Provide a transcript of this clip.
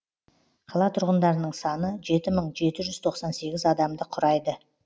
қала тұрғындарының саны жеті мың жеті жүз тоқсан сегіз адамды құрайды